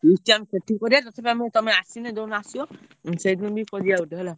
Feast ଆମେ ସେଠି କରିଆ ନଚେତ ଆମେ ତମେ ଆସିଲେ ଯୋଉଦିନ ଆସିବ ଉଁ ସେଇଦିନ ବି କରିଆ ଗୋଟେ ହେଲା।